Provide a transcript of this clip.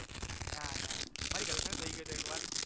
ના ના મારી girlfriend થઈ ગયો તો એક વાર